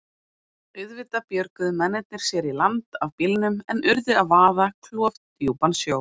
Auðvitað björguðu mennirnir sér í land af bílnum en urðu að vaða klofdjúpan sjó.